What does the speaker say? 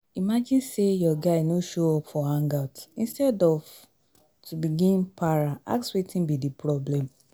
imagine sey your guy no show up for hangout instead of to begin para ask wetin be di problem